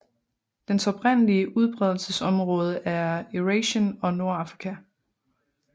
Dens oprindelige udbredelsesområde er Eurasien og Nordafrika